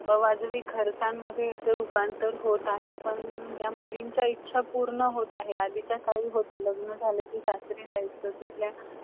अजून म्हटल त त्यांचं हे एक नवीन मी तिथे बघितला china मधे wechat म्हणून application होत आणि हे काहीतरी मला एकदमच नवीन वाटलं कारण हे दोन हजार सोळा मधे जेव्हा काहीच नव्हता आपल्याकडे UPI वगैरा payment India मध्ये काईच नव्हता